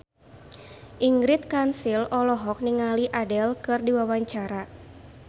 Ingrid Kansil olohok ningali Adele keur diwawancara